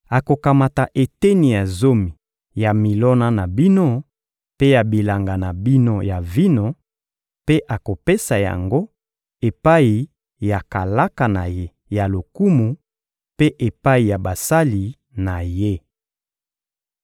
Akokamata eteni ya zomi ya milona na bino mpe ya bilanga na bino ya vino, mpe akopesa yango epai ya kalaka na ye ya lokumu mpe epai ya basali na ye.